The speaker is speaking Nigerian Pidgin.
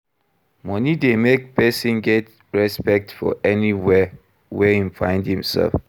Money de make persin get respect for anywhere wey im find I'm self